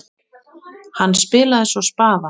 Hann spilaði svo spaða.